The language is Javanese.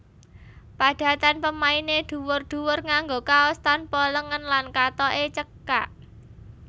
Padatan pemainé dhuwur dhuwur nganggo kaos tanpa lengen lan kathoke cekak